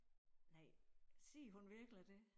Nej sig hun virkelig det